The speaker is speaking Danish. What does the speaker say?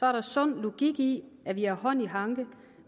er sund logik i at vi har hånd i hanke